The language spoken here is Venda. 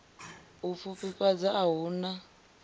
u pfufhifhadza a hu na